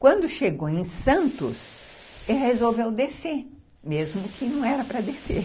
Quando chegou em Santos, ele resolveu descer, mesmo que não era para descer.